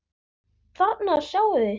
Þarna sjáið þið.